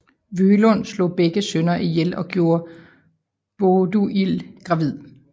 Vølund slog begge sønner ihjel og gjorde Båduild gravid